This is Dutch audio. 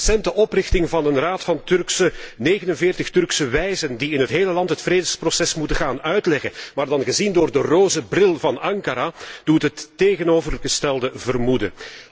De recente oprichting van een Raad van 49 Turkse wijzen, die in het hele land het vredesproces moeten gaan uitleggen, maar dan gezien door de roze bril van Ankara, doet het tegenovergestelde vermoeden.